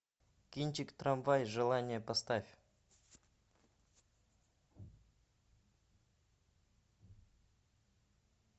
кинчик трамвай желания поставь